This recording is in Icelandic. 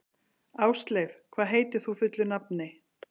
Ásleif, hvað heitir þú fullu nafni?